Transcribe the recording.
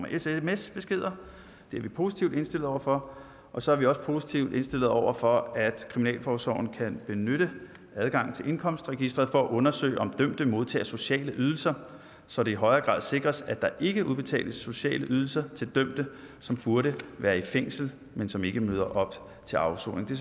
af sms beskeder det er vi positivt indstillet over for og så er vi er positivt indstillet over for at kriminalforsorgen kan benytte adgangen til indkomstregisteret for at undersøge om dømte modtager sociale ydelser så det i højere grad sikres at der ikke udbetales sociale ydelser til dømte som burde være i fængsel men som ikke møder op til afsoning det